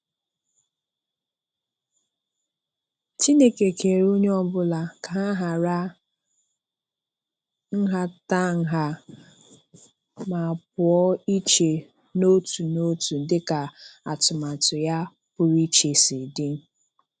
Chineke kere onye ọbụla ka ha hara nhatanha ma pụọ iche n'otu n'otu dịka atụmatụ ya pụrụ iche si dị.